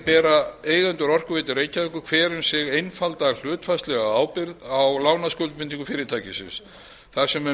bera eigendur orkuveitu reykjavíkur hver um sig einfalda hlutfallslega ábyrgð á lánaskuldbindingum fyrirtækisins þar sem um